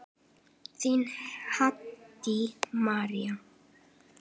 Þín, Haddý María.